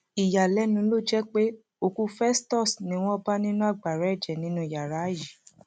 ìyàlẹnu ló jẹ pé òkú festus ni wọn bá nínú agbára ẹjẹ nínú yàrá yìí